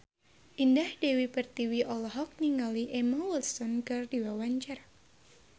Indah Dewi Pertiwi olohok ningali Emma Watson keur diwawancara